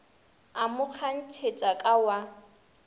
a mo kgantšhetša ka wa